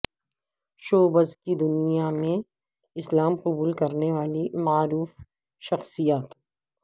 showbiz کی دنیا میں اسلام قبول کرنے والی معروف شخصیات